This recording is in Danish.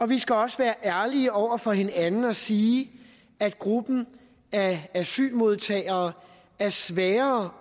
vi skal også være ærlige over for hinanden og sige at gruppen af asylmodtagere er sværere